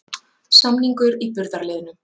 Samningur í burðarliðnum